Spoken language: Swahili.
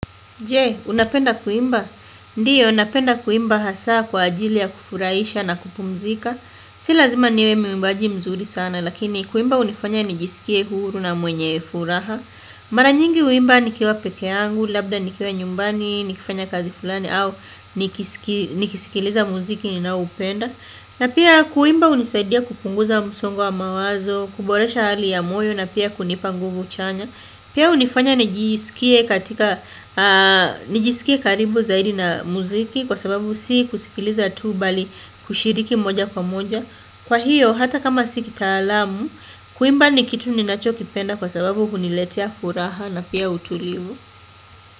Je, unapenda kuimba? Ndiyo, napenda kuimba hasa kwa ajili ya kufurahisha na kupumzika. Si lazima niwe mwimbaji mzuri sana, lakini kuimba hunifanya nijisikie huru na mwenye furaha. Maranyingi uimba nikiwa peke angu, labda nikiwa nyumbani, nikifanya kazi fulani au nikisikiliza muziki na upenda. Na pia kuimba unisaidia kupunguza musongo wa mawazo, kuboresha hali ya moyo na pia kunipanguvu chanya. Pia unifanya nijisikie karibu zaidi na muziki kwa sababu si kusikiliza tu bali kushiriki moja kwa moja. Kwa hiyo, hata kama si kitaalamu, kuimba ni kitu ni nacho kipenda kwa sababu huniletea furaha na pia utulivu.